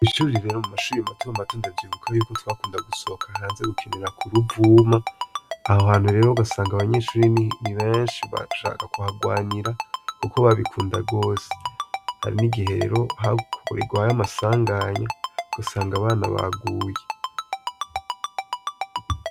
Mw'ishuri rero mu mashuri matomato ndavyibuka yuko twakunda gusohoka hanze gukinira ku ruvuma, aho hantu rero ugasanga abanyeshure ni benshi bashaka kuharwanira kuko babikunda gose, hari n'igihe rero hakorerwayo amasanganya ugasanga abana baguye.